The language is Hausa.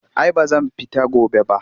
Ai ba zan fita gobe ba